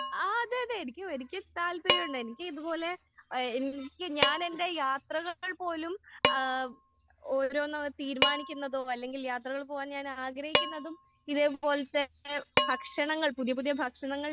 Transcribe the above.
ആഹ് അതെ അതെ എനിക്ക് എനിക്ക് താല്പര്യമുണ്ട്. എനിക്ക് ഇത് പോലെ ഏഹ് എനിക്ക് ഞാൻ എന്റെ യാത്രകൾ പോലും ഏഹ് ഓരോന്നും തീരുമാനിക്കുന്നതും അല്ലെങ്കിൽ യാത്രകൾ പോകാൻ ഞാൻ ആഗ്രഹിക്കുന്നതും ഇതേ പോലെ തന്നെ ഭക്ഷണങ്ങൾ പുതിയ പുതിയ ഭക്ഷണങ്ങൾ